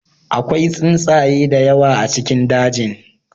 Akwai tsuntsaye da yawa a cikin dajin.